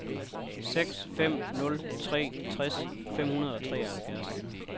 seks fem nul tre tres fem hundrede og treoghalvfjerds